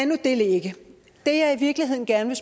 nu det ligge det jeg i virkeligheden gerne